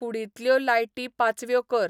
कुडींतल्यो लायटी पाचव्यो कर